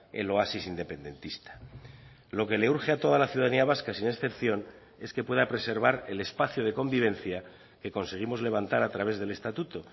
el oasis independentista lo que le urge a toda la ciudadanía vasca sin excepción es que pueda preservar el espacio de convivencia que conseguimos levantar a través del estatuto